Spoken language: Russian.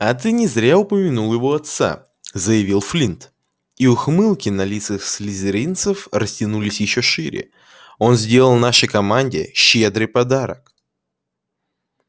а ты не зря упомянул его отца заявил флинт и ухмылки на лицах слизеринцев растянулись ещё шире он сделал нашей команде щедрый подарок